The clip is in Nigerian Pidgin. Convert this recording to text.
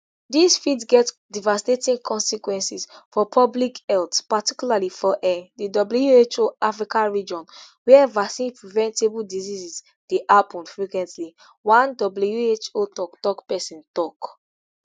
dis fit get devastating consequences for public health particularly for um di who african region wia vaccinepreventable diseases dey happun frequently one who toktok pesin tok